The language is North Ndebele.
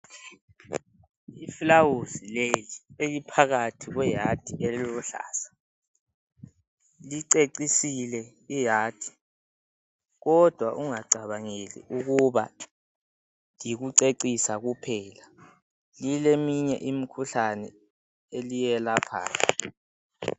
Ifulawuzi leli eliphakathi kwehadi eliluhlaza licecisile ihadi kodwa ungacabangeli ukuba yikucecisa kuphela lileminye imikhuhlane eliyelaphayo